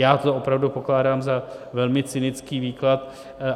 Já to opravdu pokládám za velmi cynický výklad.